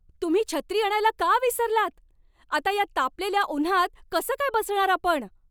तुम्ही छत्री आणायला का विसरलात? आता या तापलेल्या उन्हात कसं काय बसणार आपण?